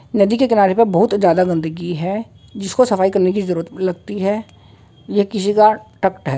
नदी के किनारे पे बोहोत जादा गंदगी है जिसको सफाई करने की जरूरत लगती है। यह किसी का है।